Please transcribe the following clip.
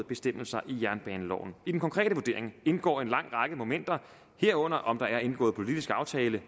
bestemmelser i jernbaneloven i den konkrete vurdering indgår en lang række momenter herunder om der er indgået politisk aftale